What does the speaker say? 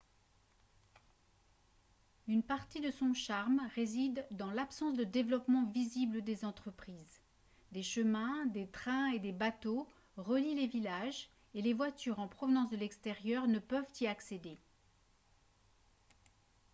une partie de son charme réside dans l'absence de développement visible des entreprises des chemins des trains et des bateaux relient les villages et les voitures en provenance de l'extérieur ne peuvent y accéder